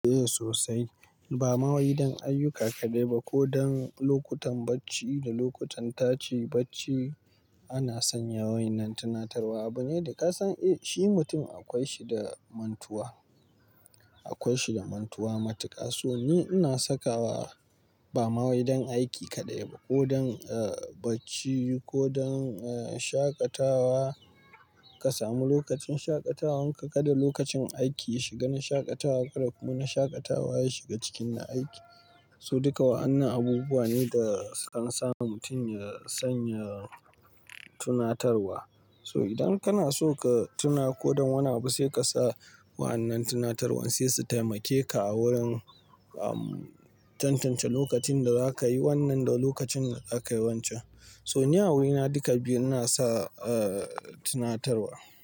Eh sosai. Bama wai don ayyuka kaɗai ba ko don lokutan bacci da lokutan tashi bacci ana sanya wa'inan tunatarwa abu ne da ka san eh shi mutum akwai shi da mantuwa, akwai shi da mantuwa matuƙa. So ni ina sakawa bama wai don aiki kaɗai ba ko don, eh bacci ko don, eh shaƙatawa. Ka samu lokacin shaƙatawanka kada lokacin aiki ya shiga na shaƙatawa, kada kuma na shaƙatawa ya shiga cikin na aiki. So duka wa'annan abubuwa ne da su kan sa mutum ya sanya tunatarwa. So idan kana so ka tuna ko don wani abu sai ka sa wa'annan tunatarwan sai su taimake ka a wurin, am, tantance lokacin da za ka yi wannan da lokacin da zaka yi wancan. So ni a wurina duka biyu ina sa, eh tunatarwa.